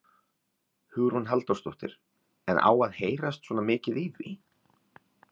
Hugrún Halldórsdóttir: En á að heyrast svona mikið í því?